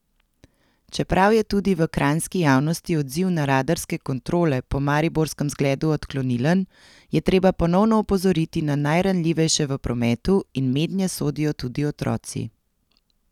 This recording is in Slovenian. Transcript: Čeprav je tudi v kranjski javnosti odziv na radarske kontrole po mariborskem zgledu odklonilen, je treba ponovno opozoriti na najranljivejše v prometu in mednje sodijo tudi otroci.